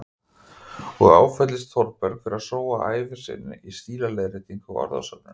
Og áfellist Þórberg fyrir að sóa ævi sinni í stílaleiðréttingar og orðasöfnun.